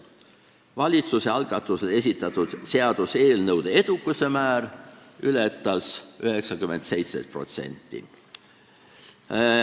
Valitsuse algatusel esitatud seaduseelnõude edukuse määr ületas 97%.